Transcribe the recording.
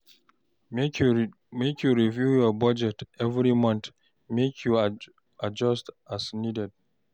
Make you review your budget every month, make you adjust as needed.